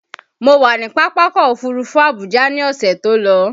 Mo wà ní Pápákọ̀ Òfurufú Abuja ní ọ̀sẹ̀ tó lọ